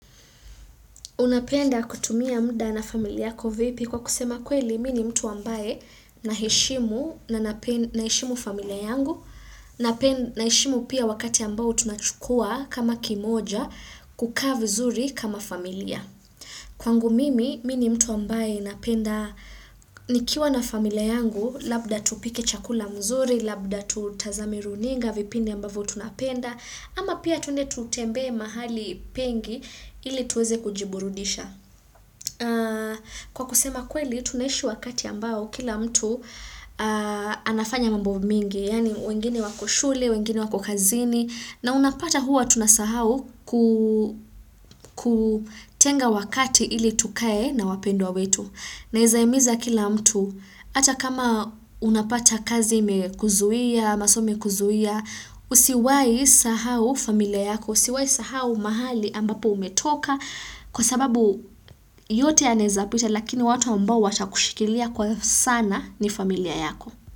Unapenda kutumia muda na familia yako vipi kwa kusema kweli mini mtu ambaye na heshimu na heshimu familia yangu, na heshimu pia wakati ambao tunachukua kama kimoja kukaa vizuri kama familia. Kwa ngu mimi, mini mtu ambaye napenda nikiwa na familia yangu, labda tupike chakula mzuri, labda tutazame runinga, vipindi ambavu tunapenda, ama pia tuende tutembee mahali pengi ili tuweze kujiburudisha. Kwa kusema kweli tunaishi wakati ambao kila mtu anafanya mambo mingi Yaani wengine wako shule, wengine wako kazini na unapata huwa tunasahau kutenga wakati ili tukae na wapendwa wetu Naeza himiza kila mtu Ata kama unapata kazi mekuzuia, maso mekuzuia Usiwai sahau familia yako, usiwai sahau mahali ambapo umetoka kwa sababu yote ya naezapita lakini watu ambao wacha kushikilia kwa sana ni familia yako.